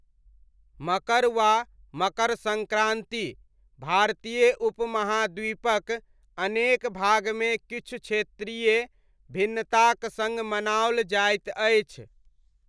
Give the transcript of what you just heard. मकर वा मकर सङ्क्रांति भारतीय उपमहाद्वीपक अनेक भागमे किछु क्षेत्रीय भिन्नताक सङ्ग मनाओल जाइत अछि।